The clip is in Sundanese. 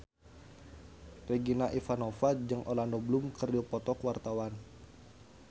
Regina Ivanova jeung Orlando Bloom keur dipoto ku wartawan